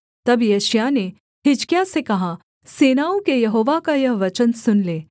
तब यशायाह ने हिजकिय्याह से कहा सेनाओं के यहोवा का यह वचन सुन ले